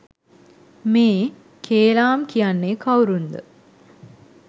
මේ කේලාම් කියන්නේ කවුරුන්ද?